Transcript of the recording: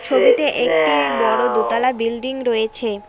ছবিতে একটি বড় দোতলা বিল্ডিং রয়েছে।